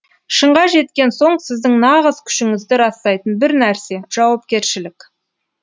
шыңға жеткен соң сіздің нағыз күшіңізді растайтын бір нәрсе жауапкершілік